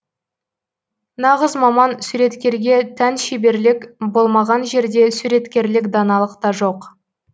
нағыз маман суреткерге тән шеберлік болмаған жерде суреткерлік даналық та жоқ